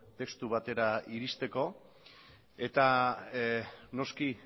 testu batera iristeko eta noski